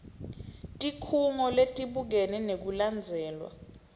tikhungo letibukene nekulandzelwa